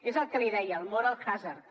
és el que li deia el moral hazard